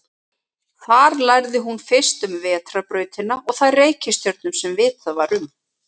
Þar lærði hún fyrst um vetrarbrautina og þær reikistjörnur sem vitað var um.